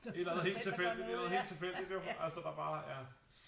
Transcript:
Et eller andet helt tilfældigt et eller andet helt tilfældigt jo altså der bare ja